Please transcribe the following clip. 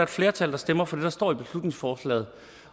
flertal der stemmer for det der står i beslutningsforslaget